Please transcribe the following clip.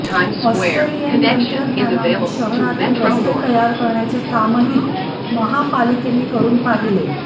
Australian तंत्रज्ञानाने शहरातील रस्ते तयार करण्याचे कामही महापालिकेने करून पाहिले